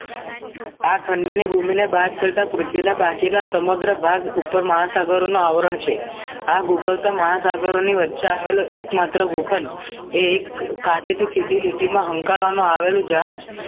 આ ખંડની ભૂમિને બાદ કરતા પૃથ્વીના બાકીના સમગ્ર ભાગ ઉપર મહા સાગરોના આવરણ છે આ ભૂગોળતો મહા સાગરોની વચ્ચે આવેલો એકમાત્ર ગો ખંડ એ એક કાર્ય થી શીળી લીટીમાં હંકારવામાં આવેલું જહાજ